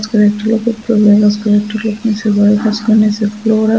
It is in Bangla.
আর একটা লোক উপরে বয়ে কাজ করে আর একটা লোক নীচে বয়ে কাজ করতেসে নীচে ফ্লোর আসে।